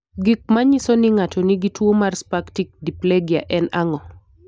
Gik manyiso ni ng'ato nigi tuo mar spastic diplegia en ang'o?